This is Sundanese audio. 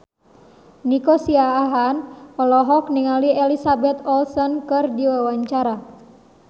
Nico Siahaan olohok ningali Elizabeth Olsen keur diwawancara